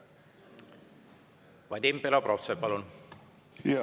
Vadim Belobrovtsev, palun!